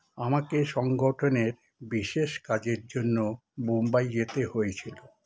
আমাকে সংগঠনের বিশেষ কাজের জন্য মুম্বাই যেতে হয়েছিল